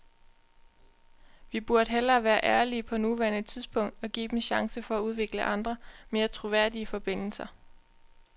Vi burde hellere være ærlige på nuværende tidspunkt og give dem chancen for at udvikle andre, mere troværdige forbindelser.